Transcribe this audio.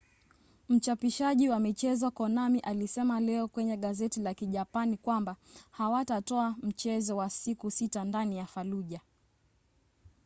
mchapishaji wa michezo konami alisema leo kwenye gazeti la kijapani kwamba hawatatoa mchezo wa siku sita ndani ya fallujah